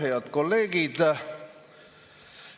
Head kolleegid!